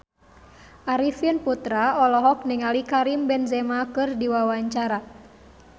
Arifin Putra olohok ningali Karim Benzema keur diwawancara